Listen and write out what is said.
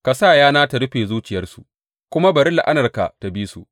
Ka sa yana ta rufe zuciyarsu, kuma bari la’anarka ta bi su.